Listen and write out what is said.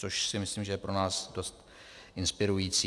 Což si myslím, že je pro nás dost inspirující.